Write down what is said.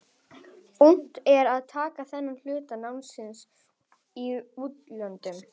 Unnt er að taka þennan hluta námsins í útlöndum.